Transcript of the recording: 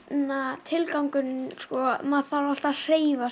tilgangurinn sko maður þarf alltaf að hreyfa sig